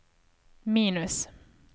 minus